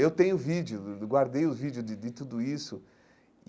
Eu tenho vídeo, guardei o vídeo de de de tudo isso.